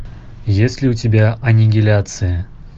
есть ли у тебя аннигиляция